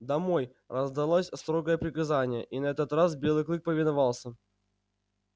домой раздалось строгое приказание и на этот раз белый клык повиновался